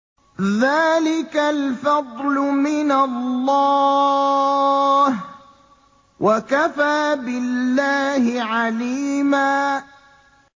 ذَٰلِكَ الْفَضْلُ مِنَ اللَّهِ ۚ وَكَفَىٰ بِاللَّهِ عَلِيمًا